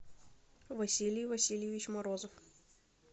василий васильевич морозов